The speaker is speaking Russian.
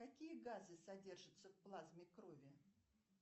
какие газы содержатся в плазме крови